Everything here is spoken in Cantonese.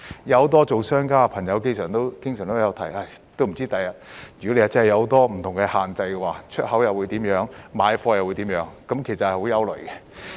很多商家朋友經常表示，如果將來真的有很多不同的限制，不知道出口或買貨會怎樣，令人感到很憂慮。